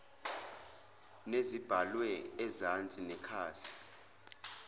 nezibhalwe ezansi nekhasi